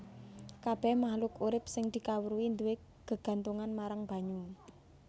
Kabèh mahluk urip sing dikawruhi duwé gegantungan marang banyu